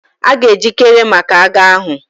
A ga-ejikere maka agha ahụ.